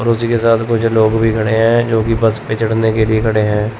और उसी के साथ कुछ लोग भी खड़े है जो कि बस पे चढ़ने के लिए खड़े है।